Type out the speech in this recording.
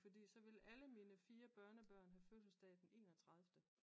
Fordi så ville alle mine 4 børnebørn have fødselsdag den enogtredive